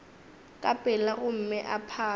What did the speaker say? ka pela gomme o phare